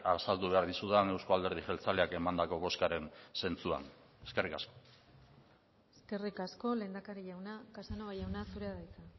azaldu behar dizudan euzko alderdi jeltzaleak emandako bozkaren zentzuan eskerrik asko eskerrik asko lehendakari jauna casanova jauna zurea da hitza